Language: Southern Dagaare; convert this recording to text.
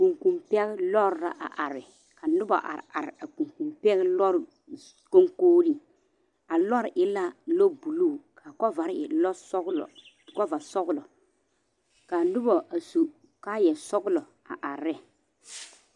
Kurikuri pɛŋ lɔre la a are ka noba are are a kurikuri pɛŋ lɔre kɔnkɔgri a lɔre e la lɔ buluu ka kɔbaare e lɔ sɔglo kɔba sɔglo ka noba a su kaayaa sɔglo a are ne.